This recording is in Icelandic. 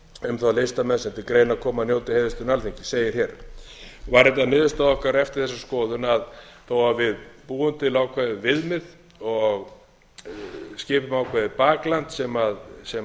um þá listamenn sem til greina koma að njóti heiðurslauna alþingis segir hér var þetta niðurstaða okkar eftir þessa skoðun að þó við búum til ákveðið viðmið og skipum ákveðið bakland sem